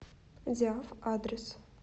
диаф адрес